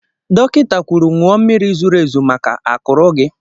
Dọkịta kwuru, ṅụọ mmiri zuru ezu maka akụrụ gị!